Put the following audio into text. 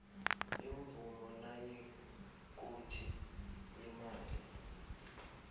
imvumo nayikuthi imali